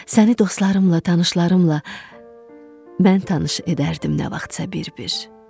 Səni dostlarımla, tanışlarımla mən tanış edərdim nə vaxtsa bir-bir.